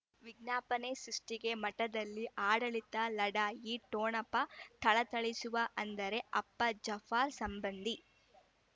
ವಿಜ್ಞಾಪನೆ ಸೃಷ್ಟಿಗೆ ಮಠದಲ್ಲಿ ಆಡಳಿತ ಲಢಾಯಿ ಠೊಣಪ ಥಳಥಳಿಸುವ ಅಂದರೆ ಅಪ್ಪ ಜಾಪ್ಹ್ ರ್ ಸಂಬಂಧಿ